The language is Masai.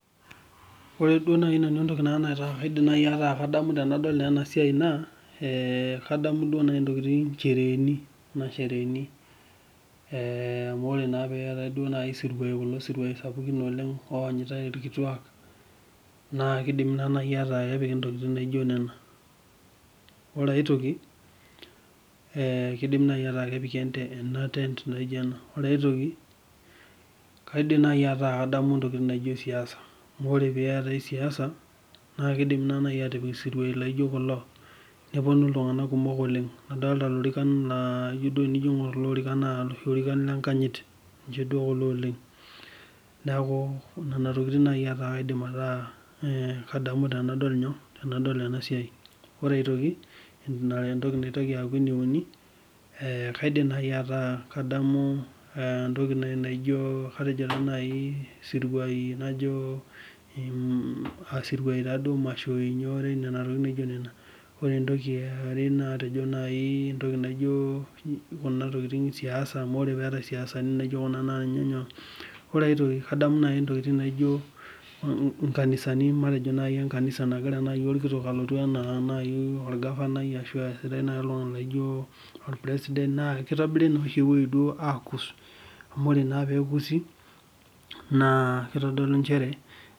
Ore duo nanu entoki nadamu tenadol enasiai naa kadamu naaji njereheni amu ore naaji pee etae esiruai sapukin onyitai irkituak naa kepiki ntokitin naijio Nena ore aitoki kidim naaji aaku kepiki etent naijio Nena ore aitoki naa kadamu naaji entoki naijio siasa amh ore siasa naa kidim naaji atipika siruai laijio kulo nepuonu iltung'ana kumok oleng adolita lorikan naa tenijo duo aing'or kulo orikan naa loshi orikan lenkanyit neeku Nena tokitin naaji aidim ataa kadamu tenadol ena siai ore aitoki entoki naitoki akuu ene uni kaidim naaji ataa kadamu entoki naijio nkanisani matejo naaji kanisa naaji nagira orkitok alotu matejo naaji orgavanai olaijio orpresident naa kitobiri naa oshi ewueji duo akuso amu ore naa pee kusi naa kitodolu njere